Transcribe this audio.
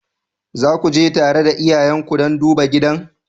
Za ku je tare da iyayenku don duba gidan?